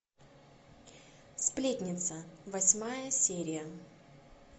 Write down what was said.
сплетница восьмая серия